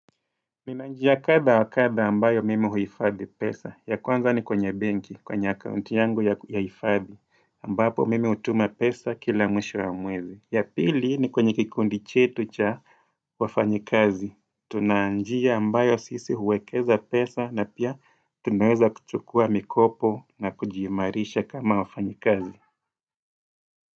Mina njia kadha kadha ambayo mimi huhifadhi pesa. Ya kwanza ni kwenye benki, kwenye akaunti yangu ya hifadhi. Ambapo mimi hutuma pesa kila mwisho ya mwezi. Ya pili ni kwenye kikundi chetu cha wafanyakazi. Tuna njia ambayo sisi huwekeza pesa na pia tunawaza kuchukua mikopo na kujiimarisha kama wafanyakazi.